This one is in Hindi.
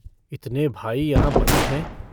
इतने भाई यहाँ बन्द हैं।